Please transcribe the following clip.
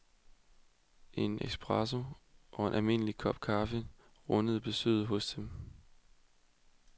En espresso og en almindelig kop kaffe rundede besøget hos dem af.